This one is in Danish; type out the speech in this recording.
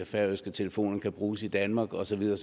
færøske telefoner ikke kan bruges i danmark og så videre